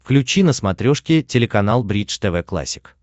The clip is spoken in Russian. включи на смотрешке телеканал бридж тв классик